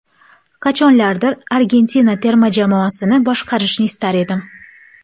Qachonlardir Argentina terma jamoasini boshqarishni istar edim.